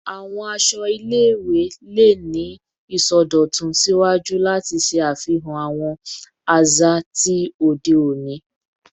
Awọn aṣọ ile-iwe le ni isọdọtun siwaju lati ṣe afihan awọn aza ti ode oni